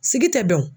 Sigi tɛ bɛn o